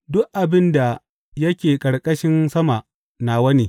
Duk abin da yake ƙarƙashin sama nawa ne.